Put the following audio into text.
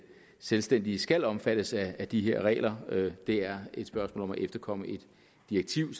selvstændige skal omfattes af de her regler det er et spørgsmål om at efterkomme et direktiv